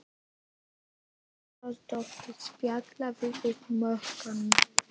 Hrund Þórsdóttir: Spjalla við múkkann?